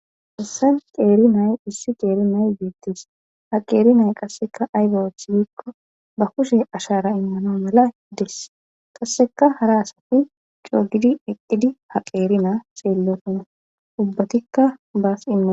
essan ceeri nay issi ceeri nay beettis ha qeeri nay qasseka aybaath biikko ba kushe ashara immano mala hides qasseka hara asati coogidi eqqidi ha qeeri naa xeellotun ubbatikka baas imman